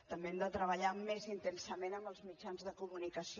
també hem de treballar més intensament amb els mitjans de comunicació